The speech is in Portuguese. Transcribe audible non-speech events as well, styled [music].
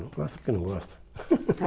Não gosta porque não gosta. [laughs]